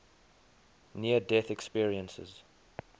near death experiences